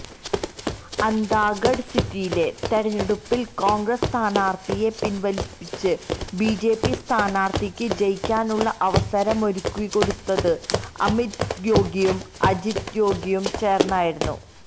അന്താഗഢ് സീറ്റിലെ തെരഞ്ഞെടുപ്പിൽ കോൺഗ്രസ്സ് സ്ഥാനാർത്ഥിയെ പിൻവലിപ്പിച്ച് ബിജെപി സ്ഥാനാർത്ഥിക്ക് ജയിക്കാനുള്ള അവസരമൊരുക്കിക്കൊടുത്തത് അമിത് ജോഗിയും അജിത് ജോഗിയും തേർന്നായിരുന്നു